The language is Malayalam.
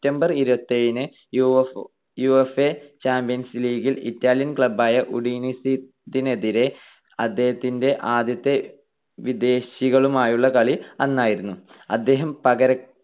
september ഇരുപത്തിയേഴിന് യുഎഫ്ഒ ~ യുവേഫ ചാമ്പ്യൻസ് ലീഗിൽ ഇറ്റാലിയൻ club ആയ ഉഡിനീസിനെതിരെ അദ്ദേഹത്തിന്റെ ആദ്യത്തെ വിദേശികളുമായുള്ള കളി അന്നായിരുന്നു. അദ്ദേഹം പകര